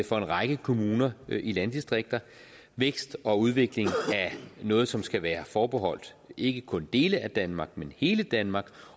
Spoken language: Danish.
for en række kommuner i landdistrikter vækst og udvikling er noget som skal være forbeholdt ikke kun dele af danmark men hele danmark